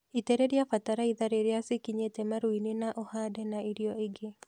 Itĩreria batalaiza rĩrĩa cikinyete maruine na uhande na irio inge